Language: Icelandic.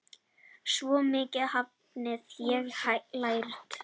Svo mikið hafði ég lært.